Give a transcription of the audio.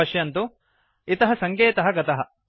पश्यन्तु इतः सङ्केतः गतः